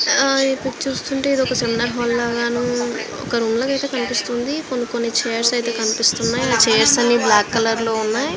హా ఇవి చూస్తుంటే ఇది ఒక సినిమా హాల్ లాగను ఒక రూమ్ లాగా కనిపిస్తుంది. కొని కొని చైర్స్ అయితే కనిపిస్తున్నాయి. అ చైర్స్ అని బ్లాకు కలర్ లొ వున్నాయ్.